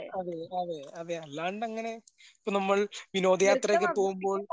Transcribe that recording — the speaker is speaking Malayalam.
അതെ അതെ അതെ. അല്ലാണ്ടങ്ങനെ ഇപ്പ നമ്മൾ വിനോദയാത്രയൊക്കെ പോകുമ്പോൾ